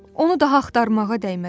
Onu daha axtarmağa dəyməz.